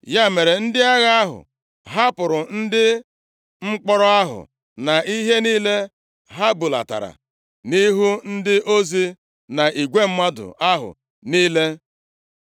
Ya mere, ndị agha ahụ hapụrụ ndị mkpọrọ ahụ na ihe niile ha bulatara, nʼihu ndị ozi na igwe mmadụ ahụ niile.